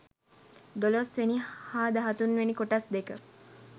දොළොස් වෙනි හා දහතුන් වෙනි කොටස් දෙක